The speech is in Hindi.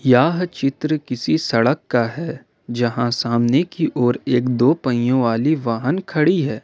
यह चित्र किसी सड़क का है जहां सामने की ओर एक दो पहियों वाली वाहन खड़ी है।